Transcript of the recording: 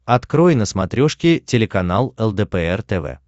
открой на смотрешке телеканал лдпр тв